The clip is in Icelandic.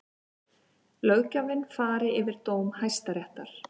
Löggjafinn fari yfir dóm Hæstaréttar